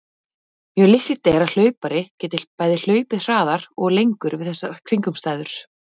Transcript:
Mjög líklegt er að hlaupari geti bæði hlaupið hraðar og lengur við þessar kringumstæður.